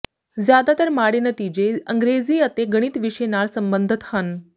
ਜ਼ਿਆਦਾਤਰ ਮਾਡ਼ੇ ਨਤੀਜੇ ਅੰਗਰੇਜ਼ੀ ਅਤੇ ਗਣਿਤ ਵਿਸ਼ੇ ਨਾਲ ਸਬੰਧਤ ਹਨ